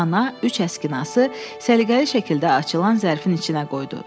Ana üç əskinası səliqəli şəkildə açılan zərfin içinə qoydu.